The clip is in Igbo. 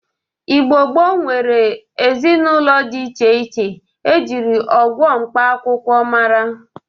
Igbo gboo nwere ezinaụlọ dị iche iche e jiri ọgwọ mkpa akwụkwọ mara.